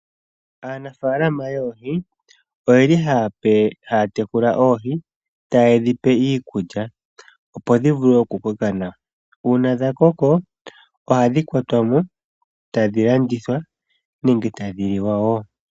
Aanafalama yoohi oyeli haya tekula oohi, ta yedhi pe iikulya opo dhi vule oku koka, uuna dha koko oha yedhi kwatamo etadhi landithwa nenge tadhi liwa wo .